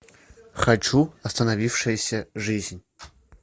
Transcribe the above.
хочу остановившаяся жизнь